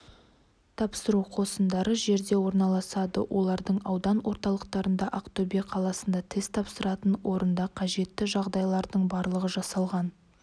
тапсыру қосындары жерде орналасады олардың аудан орталықтарында ақтөбе қаласында тест тапсыратын орындарда қажетті жағдайлардың барлығы жасалған